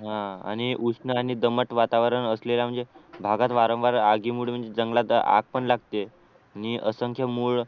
हा आणि उष्ण आणि दमट वातावरण असलेल्या म्हणजे भागात वारंवार आगीमुळे म्हणजे जंगलात आग पण लागते आणि असंख्य मूळ